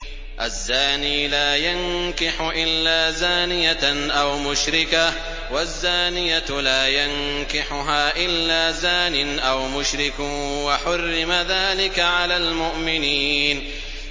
الزَّانِي لَا يَنكِحُ إِلَّا زَانِيَةً أَوْ مُشْرِكَةً وَالزَّانِيَةُ لَا يَنكِحُهَا إِلَّا زَانٍ أَوْ مُشْرِكٌ ۚ وَحُرِّمَ ذَٰلِكَ عَلَى الْمُؤْمِنِينَ